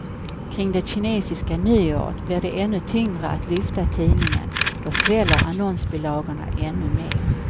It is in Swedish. Kring det kinesiska nyåret blir det ännu tyngre att lyfta tidningen, då sväller annonsbilagorna ännu mer.